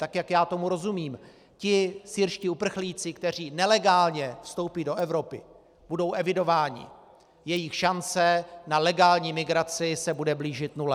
Tak jak já tomu rozumím, ti syrští uprchlíci, kteří nelegálně vstoupí do Evropy, budou evidováni, jejich šance na legální migraci se bude blížit nule.